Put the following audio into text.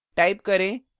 type करें